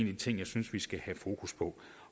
de ting jeg synes vi skal have fokus på